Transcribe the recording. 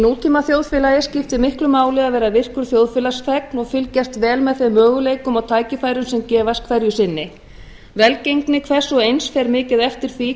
nútímaþjóðfélagi skiptir miklu máli að vera virkur þjóðfélagsþegn og fylgjast vel með þeim möguleikum og tækifærum sem gefast hverju sinni velgengni hvers og eins fer mikið eftir því